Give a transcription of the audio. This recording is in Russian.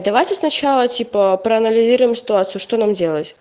давайте сначала типа проанализируем ситуацию что нам делать